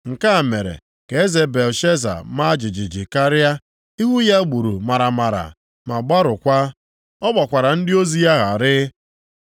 Nke a mere, ka eze Belshaza maa jijiji karịa, ihu ya gburu maramara ma gbarụkwaa. Ọ gbakwara ndị ozi ya gharịị.